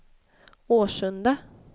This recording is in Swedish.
Årsunda